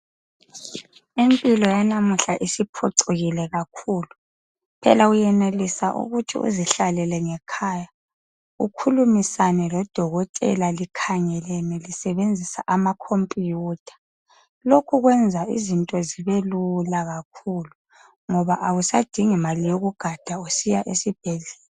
Impilo yabanuhla isiphucukile kakhulu phela uyenelisa ukuthi uzihlalele ngekhaya ukhulumisane lodokotela likhangelene lisebenzisa amakhompuyutha lokhu ukwenza izinto zibe lula kakhulu ngoba awusadingi mali yokugada ukuthi uye esibhedlela